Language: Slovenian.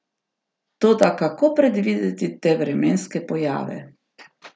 Toda kako predvideti te vremenske pojave?